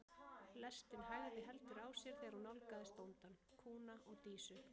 Lestin hægði heldur á sér þegar hún nálgaðist bóndann, kúna og Dísu.